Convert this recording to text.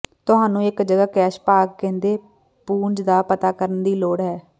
ਤੁਹਾਨੂੰ ਇੱਕ ਜਗ੍ਹਾ ਕੈਸ਼ ਭਾਗ ਕਹਿੰਦੇ ਪੂੰਝ ਦਾ ਪਤਾ ਕਰਨ ਦੀ ਲੋੜ ਹੈ